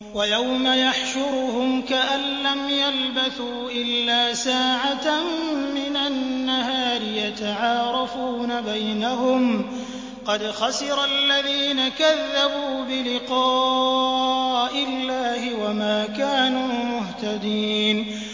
وَيَوْمَ يَحْشُرُهُمْ كَأَن لَّمْ يَلْبَثُوا إِلَّا سَاعَةً مِّنَ النَّهَارِ يَتَعَارَفُونَ بَيْنَهُمْ ۚ قَدْ خَسِرَ الَّذِينَ كَذَّبُوا بِلِقَاءِ اللَّهِ وَمَا كَانُوا مُهْتَدِينَ